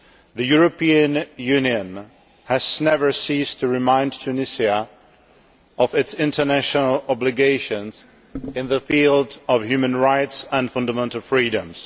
The European Union has never ceased to remind Tunisia of its international obligations in the field of human rights and fundamental freedoms.